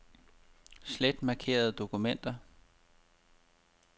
Slet markerede dokumenter.